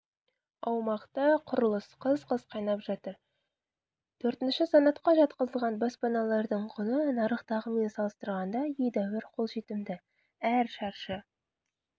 аумақта құрылыс қыз-қыз қайнап жатыр төртінші санатқа жатқызылған баспаналардың құны нарықтағымен салыстырғанда едәуір қолжетімді әр шаршы